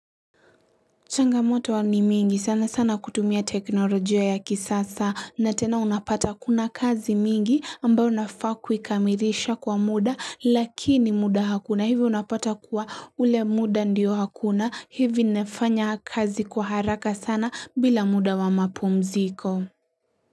Changamoto huwa ni mingi sana sana kutumia teknolojia ya kisasa na tena unapata kuna kazi mingi ambayo nafaa kuikamilisha kwa muda lakini muda hakuna hivi unapata kuwa ule muda ndio hakuna hivi nefanya kazi kwa haraka sana bila muda wa mapumziko.